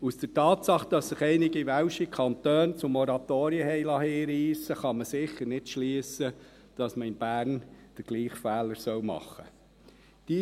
Aus der Tatsache, dass sich einige welsche Kantone zu Moratorien hinreissen liessen, kann man sicher nicht schliessen, dass man in Bern den gleichen Fehler machen solle.